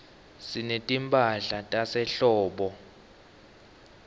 sinetimphahla tasehlobo